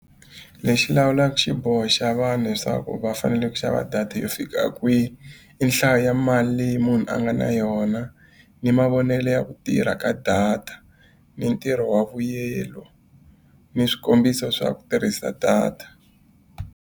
Lexi lawulaka xiboho xa vanhu leswaku va fanele ku xava data yo fika kwihi, i nhlayo ya mali leyi munhu a nga na yona, ni mavonelo ya ku tirha ka data, ni ntirho wa vuyelo, ni swikombiso swa ku tirhisa data.